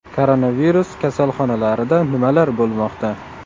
Koronavirus kasalxonalarida nimalar bo‘lmoqda?